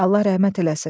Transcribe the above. Allah rəhmət eləsin.